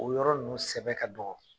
O yɔrɔ ninnu sɛbɛ ka dɔgɔ